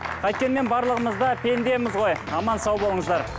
қайткенмен барлығымыз да пендеміз ғой аман сау болыңыздар